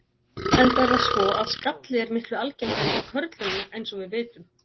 Enda er það svo að skalli er miklu algengari hjá körlunum eins og við vitum.